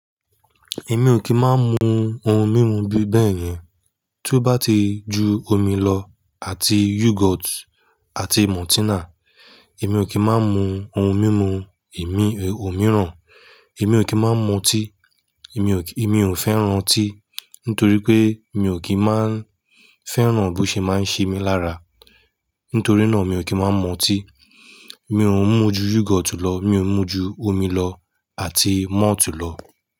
Èmi ò kí máa ń mu ohun mímu bíi bẹ́ẹ̀ yẹn. Tó bá ti ju omi lọ àti yogurt àti maltina, èmi ò kí máa ń mu ohun mímu èmi ò mìíràn. Èmi ò kí máa ń mu tíì, èmi ò fẹ́ran tíì nítorí pé mi ò kí máa ń fẹ́ran bó ṣe máa ń ṣe mí lára. Nítorí náà mi ò kí máa ń mu tíì. Mi ò ń mú ju yogurt lọ, mi ò ń mú ju omi lọ àti malt lọ.